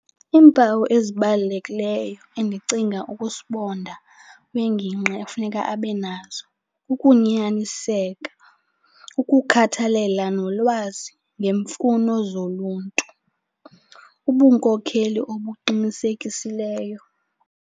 Iimpawu ezibalulekileyo endicinga ukuba sibonda kwiingingqi efuneka abe nazo. Ukunyaniseka, ukukhathalela nolwazi ngeemfuno zoluntu, ubunkokheli obuqinisekisileyo.